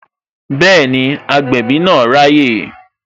Bẹẹni, agbẹ̀bí náà raye